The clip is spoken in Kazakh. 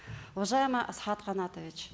уважаемый асхат канатович